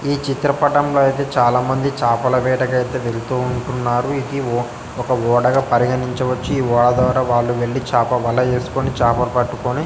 ఈ చిత్రపటంలో అయితే చాలామంది చాపల వేటకైతే వెళ్తూ ఉంటున్నారు ఉ-ఉ-ఓ ఒక ఓడగ పరిగణించ వచ్చు వరదరవాళ్లు వెళ్లి చాప వల వేసుకొని చాప పట్టుకొని--